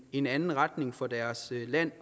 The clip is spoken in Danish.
en anden retning for deres land